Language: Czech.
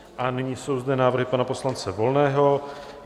A nyní jsou zde návrhy pana poslance Volného.